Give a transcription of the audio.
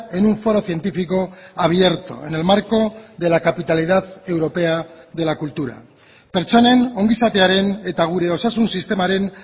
en un foro científico abierto en el marco de la capitalidad europea de la cultura pertsonen ongizatearen eta gure osasun sistemaren